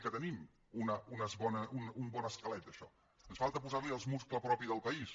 que tenim un bon esquelet d’això ens falta posar hi el múscul propi del país